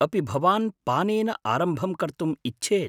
अपि भवान् पानेन आरम्भं कर्तुम् इच्छेत्?